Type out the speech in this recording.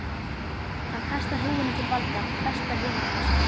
Hann kastar húfunni til Valda, besta vinarins.